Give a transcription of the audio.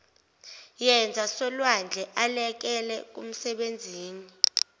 yezasolwandle elekela kumsebenzini